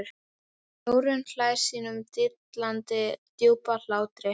Þórunn hlær sínum dillandi djúpa hlátri.